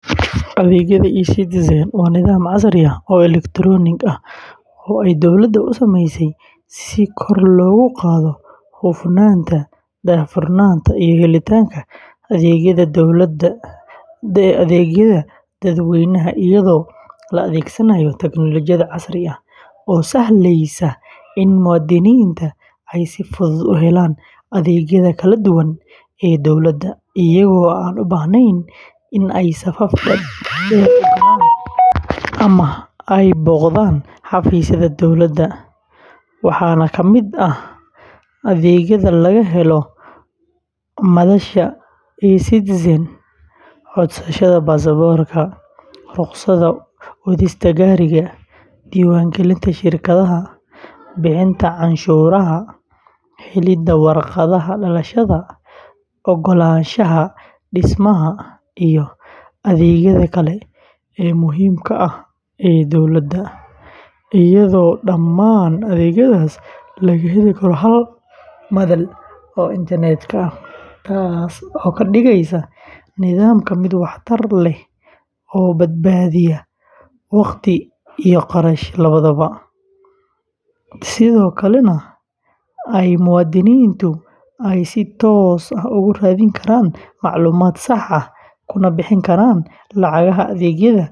Adeegyada eCitizen waa nidaam casri ah oo elektaroonig ah oo ay dowladda u samaysay si kor loogu qaado hufnaanta, daahfurnaanta iyo helitaanka adeegyada dadweynaha iyadoo la adeegsanayo teknolojiyad casri ah oo sahleysa in muwaadiniinta ay si fudud u helaan adeegyada kala duwan ee dowladda iyagoo aan u baahnayn in ay safaf dhaadheer galaan ama ay booqdaan xafiisyada dowladda, waxaana ka mid ah adeegyada laga helo madasha eCitizen codsashada baasaboorka, rukhsadda wadista gaariga, diiwaangelinta shirkadaha, bixinta canshuuraha, helidda warqadaha dhalashada, oggolaanshaha dhismaha, iyo adeegyada kale ee muhiimka ah ee dowladda, iyadoo dhammaan adeegyadaas laga heli karo hal madal oo internetka ah, taas oo ka dhigaysa nidaamka mid waxtar leh oo badbaadiya wakhti iyo kharash labadaba, sidoo kalena ay muwaadiniintu ay si toos ah ugu raadin karaan macluumaad sax ah, kuna bixin karaan lacagaha adeegyada.